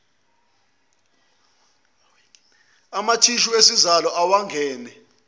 amathishu esizalo awengane